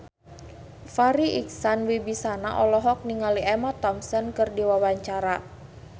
Farri Icksan Wibisana olohok ningali Emma Thompson keur diwawancara